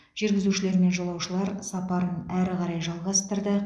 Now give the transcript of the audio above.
жүргізушілер мен жолаушылар сапарын әрі қарай жалғастырды